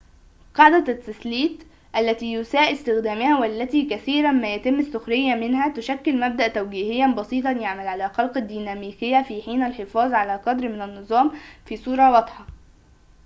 قاعدة التثليث التي يُساء استخدامها والتي كثيراً ما يتم السخرية منها تشكل مبدأ توجيهياً بسيطاً يعمل على خلق الديناميكية في حين يحافظ على قدر من النظام في صورة واضحة